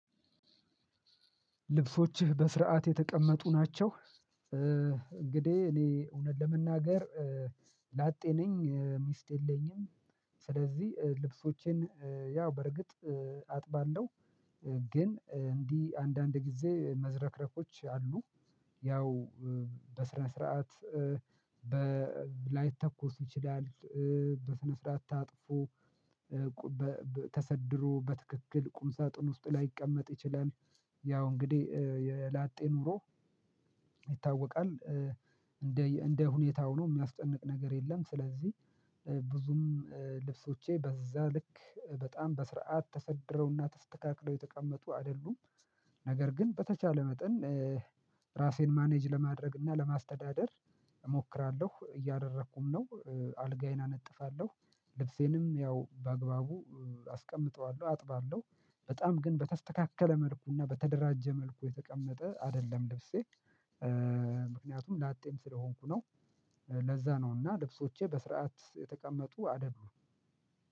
ልብሶችህ በስርዓት የተቀመጡ ናቸው? እንግዲህ እኔ እውነት ለመናገር ላጤ ነኝ ሚስት የለኝም። ስለዚህ ልብሶቼን ያው በርግጥ አጥባለሁ። ግን እንዲህ አንዳንድ ጊዜ መዝረክረኮች አሉ። ያው በስነ ስርዓት ላይተኮስ ይችላል። በስነ ስርዓት ታጥፎ ተሰድሮ በትክክል ቁም ሳጥን ውስጥ ላይቀመጥ ይችላል። ያው እንግዲህ የላጤ ኑሮ ይታወቃል እንደ እንደ ሁኔታው ነው የሚያስጨንቅ ነገር የለም። ስለዚህ ብዙም ልብሶቼ በዛ ልክ በጣም በስርዓት ተሰድረውና ተስተካክለው የተቀመጡ አይደሉም። ነገር ግን በተቻለ መጠን ራሴን ማኔጅ ለማድረግ እና ለማስተዳደር እሞክራለሁ እያደረኩም ነው። አልጋዬን አነጥፋለሁ ልብሴንም ያው በአግባቡ አስቀምጠዋለሁ አጥባለሁ በጣም ግን በተስተካከለ መልኩና በተደራጀ መልኩ የተቀመጠ አይደለም ልብሴ። ምክንያቱም ላጤም ስለሆንኩ ነው። ለዛ ነው እና ልብሶቼ በስርዓት የተቀመጡ አደሉም